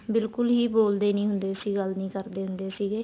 ਬਿਲਕੁਲ ਹੀ ਬੋਲਦੇ ਨਹੀਂ ਹੁੰਦੇ ਸੀ ਗੱਲ ਨਹੀਂ ਕਰਦੇ ਹੁੰਦੇ ਸੀਗੇ